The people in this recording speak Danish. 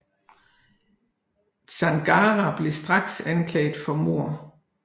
Zangara blev straks anklaget for mord